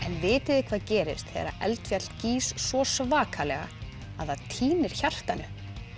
vitið þið hvað gerist þegar eldfjall gýs svo svakalega að það týnir hjartanu